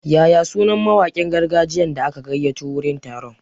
Yaya sunar mawakin gargajiyan da aka gayyato wurin taron?